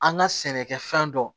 An ka sɛnɛkɛfɛn dɔ